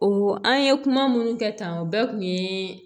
O an ye kuma minnu kɛ tan o bɛɛ kun ye